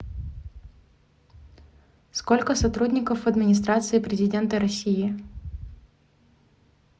сколько сотрудников в администрации президента россии